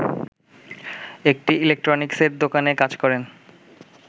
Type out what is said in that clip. একটি ইলেকট্রনিক্সের দোকানে কাজ করেন